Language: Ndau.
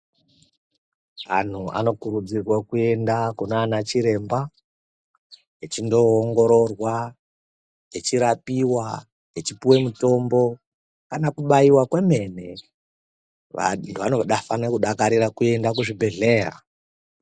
Antu anokurudzirwa kuenda kunanachiremba vechindoongorora, vechirapiwa, vechipiwe mutombo kana kubaiwa kwemene. Vantu vanofane kufarira kuende kuzvibhedhlera.